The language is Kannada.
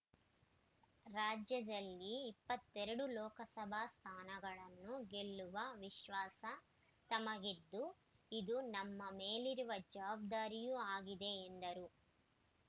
ರಾಜ್ಯದಲ್ಲಿ ಇಪ್ಪತ್ತ್ ಎರಡು ಲೋಕಸಭಾ ಸ್ಥಾನಗಳನ್ನು ಗೆಲ್ಲುವ ವಿಶ್ವಾಸ ತಮಗಿದ್ದು ಇದು ನಮ್ಮ ಮೇಲಿರುವ ಜವಾಬ್ದಾರಿಯೂ ಆಗಿದೆ ಎಂದರು